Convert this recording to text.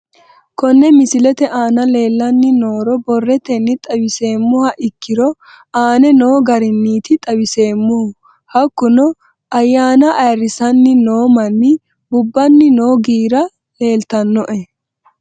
Kone misilete aana leelanni nooro borrotenni xawisemoha ikiiro aane noo garinniti xawiseemohu hakunno ayaana ayirisanni noo manni bubanni noo giira leltanoe